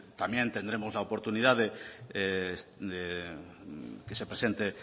también tendremos la oportunidad de que se presente